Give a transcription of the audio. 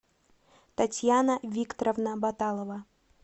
татьяна викторовна баталова